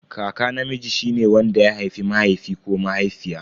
Kaka namiji shine wanda ya haifi mahaifi ko mahaifiya.